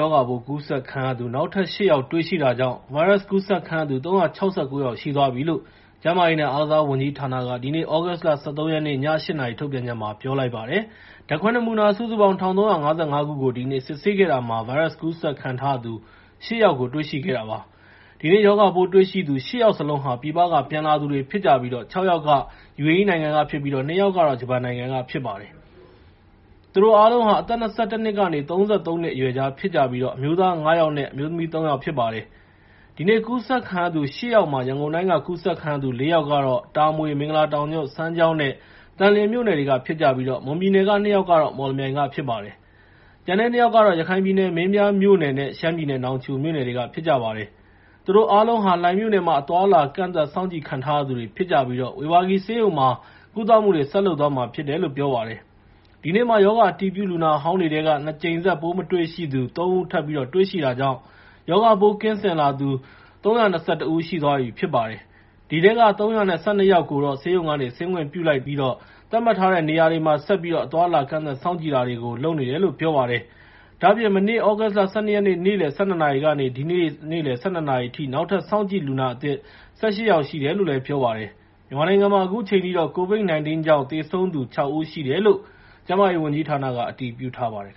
ရောဂါပိုး ကူးစက်ခံရသူ နောက်ထပ် ရှစ် ယောက် တွေ့ရှိတာကြောင့် ဗိုင်းရပ်စ်ကူးစက်ခံရသူ ၃၆၉ ယောက်ရှိသွားပြီလို့ ကျန်းမာရေးနဲ့ အားကစားဝန်ကြီးဌာနက ဒီနေ့ သြဂုတ် ၁၃ ရက် ည ၈ နာရီထုတ်ပြန်ချက်မှာ ပြောလိုက်ပါတယ်။ ဓါတ်ခွဲ နမူနာ ၁,၃၅၅ ခုကို ဒီနေ့စစ်ဆေးခဲ့တာမှာ ဗိုင်းရပ်စ်ကူးစက်ခံထားရသူ ရှစ် ယောက်ရှိကို တွေ့ရှိခဲ့တာပါ။ ဒီနေ့ ရောဂါပိုးတွေ့ရှိသူ ရှစ် ယောက်စလုံးဟာ ပြည်ပက ပြန်လာသူတွေဖြစ်ပြီး ၆ ယောက်က ယူအေအီး နိုင်ငံကဖြစ်ပြီး ၂ ယောက်ကတော့ ဂျပန်နိုင်ငံက ဖြစ်ပါတယ်။ သူတို့အားလုံးဟာ အသက် ၂၁ နှစ်ကနေ ၃၃ နှစ် အရွယ်ကြားဖြစ်ကြပြီး အမျိုးသား ၅ ယောက်နဲ့ အမျိုးသမီး ၃ ယောက်ဖြစ်ပါတယ်။ ဒီနေ့ ကူးစက်ခံရသူ ၈ ယောက်မှာ ရန်ကုန်တိုင်းက ကူးစက်ခံရသူ လေး ယောက်ကတော့ တာမွေ၊ မင်္ဂလာတောင်ညွှန့်၊ စမ်းချောင်း နဲ့ သန်လျှင်မြို့နယ်တွေကဖြစ်ပြီး၊ မွန်ပြည်နယ်က ၂ ယောက်ကတော့ မော်လမြိုင်ကဖြစ်ပါတယ်။ ကျန်တဲ့ ၂ ယောက်ကတော့ ရခိုင်ပြည်နယ် မင်းပြားမြို့နယ်နဲ့ ရှမ်းပြည်နယ် နောင်ချိုမြို့နယ်တွေကဖြစ်ပါတယ်။ သူတို့အားလုံးဟာ လှိုင်မြို့နယ်မှာ အသွားအလာ ကန့်သတ်စောင့်ကြည့်ခံထားရသူတွေဖြစ်ပြီး ဝေဘာဂီဆေးရုံမှာ ကုသမှုတွေ ဆက်လုပ်သွားမှာဖြစ်တယ်လို့ ပြောပါတယ်။ ဒီနေ့မှာ ရောဂါအတည်ပြုလူနာဟောင်းတွေထဲက ၂ ကြိမ်ဆက် ပိုးမတွေ့ရှိသူ ၃ ဦး ထပ်မံတွေရှိတာကြောင့် ရောဂါပိုးကင်းစင်လာသူ ၃၂၁ ဦး ရှိသွားပြီဖြစ်ပါတယ်။ အဲဒီထဲက ၃၁၂ ဦးကိုတော့ ဆေးရုံးက ဆင်းခွင့်ပြုလိုက် သတ်မှတ်ထားတဲ့နေရာတွေမှာ ဆက်ပြီးတော့ အသွားအလာ ကန့်သတ်စောင့်ကြည့်နေတယ်လို့ ပြောပါတယ်။ ဒါ့အပြင် မနေ့ သြဂုတ်လ ၁၂ ရက်နေ့လယ်ကနေ ဒီနေ့ နေ့လယ် ၁၂ နာရီအထိ နောက်ထပ် စောင့်ကြည့်လူနာအသစ် ၁၈ ယောက်ရှိတယ်လို့ ပြောပါတယ်။ မြန်မာနိုင်ငံမှာ အခုချိန်ထိတော့ COVID-19 ကြောင့် သေဆုံးသူ ၆ ဦးရှိတယ်လို့ ကျန်းမာရေးဝန်ကြီးဌာနက အတည်ပြုထားပါတယ်